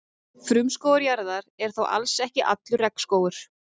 Frumskógur jarðar er þó alls ekki allur regnskógur.